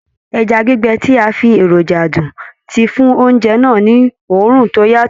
Ẹja gbígbẹ tí a fi èròjà dùn ti fún oúnjẹ náà ni òórùn tó yàtọ̀.